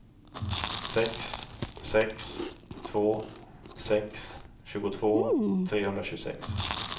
sex sex två sex tjugotvå trehundratjugosex